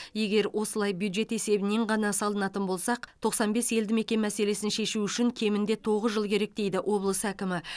егер осылай бюджет есебінен ғана салынатын болсақ тоқсан бес елді мекен мәселесін шешу үшін кемінде тоғыз жыл керек дейді облыс әкімі